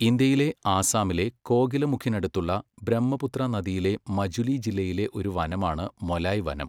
ഇന്ത്യയിലെ ആസാമിലെ കോകിലമുഖിനടുത്തുള്ള ബ്രഹ്മപുത്ര നദിയിലെ മജുലി ജില്ലയിലെ ഒരു വനമാണ് മൊലായ് വനം.